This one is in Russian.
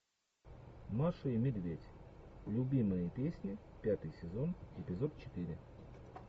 маша и медведь любимые песни пятый сезон эпизод четыре